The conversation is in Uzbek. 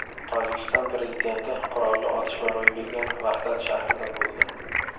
Tojikiston prezidenti qurolli otishma ro‘y bergan Vahdat shahrida bo‘ldi.